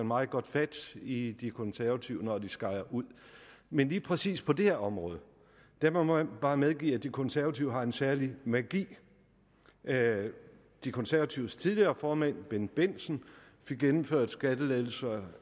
meget godt fat i de konservative når de skejer ud men lige præcis på det her område må man bare medgive at de konservative har en særlig magi de konservatives tidligere formand herre bendt bendtsen fik gennemført skattelettelser